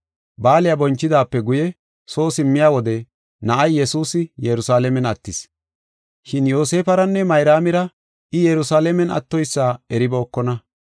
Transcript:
Baaliya bonchidaape guye soo simmiya wode na7ay Yesuusi Yerusalaamen attis. Shin Yoosefaranne Mayraamira I Yerusalaamen attoysa eribookona.